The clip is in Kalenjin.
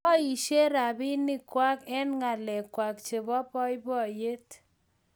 Poishe rabinik kwai eng' ngalek kwai chebo poypoiyrt